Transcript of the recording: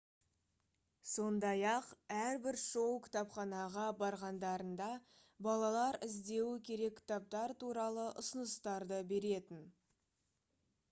сондай-ақ әрбір шоу кітапханаға барғандарында балалар іздеуі керек кітаптар туралы ұсыныстарды беретін